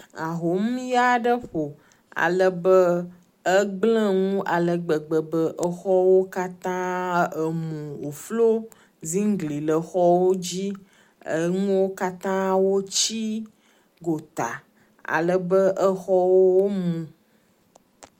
Ahomuya aɖe ƒo ale be egblẽ nu ale gbegbe be xɔwo katã emu woflo ziŋgli le xɔwo dzi. Enuwo kata wotsi egota ale be xɔwo mu.